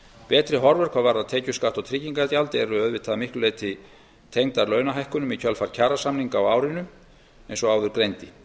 betri horfur hvað varðar tekjuskatt og tryggingagjald eru auðvitað að miklu leyti tengdar launahækkunum í kjölfar kjarasamninga á árinu eins og áður greindi